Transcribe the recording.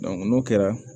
n'o kɛra